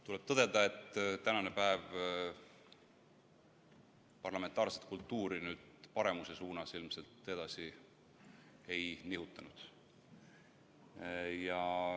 Tuleb tõdeda, et tänane päev parlamentaarset kultuuri paremuse suunas ilmselt edasi ei nihutanud.